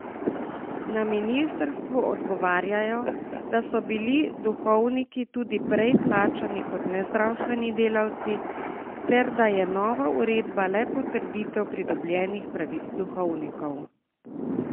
Na ministrstvu odgovarjajo, da so bili duhovniki tudi prej plačani kot nezdravstveni delavci ter da je nova uredba le potrditev pridobljenih pravic duhovnikov.